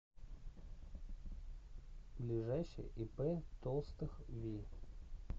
ближайший ип толстых ви